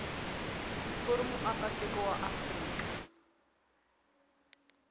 u ri muakatiko wa afrika